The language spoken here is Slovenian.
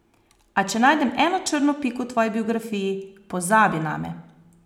A če najdem eno črno piko v tvoji biografiji, pozabi name.